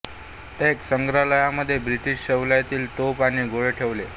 tank संग्रहालयमध्ये British शैलीतील तोफ आणि गोळे ठेवले